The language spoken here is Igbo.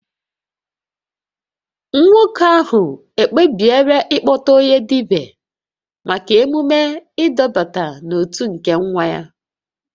Nwoke ahụ ekpebiela ịkpọta onye dibia maka emume ịdọbata n'otu nke nwa ya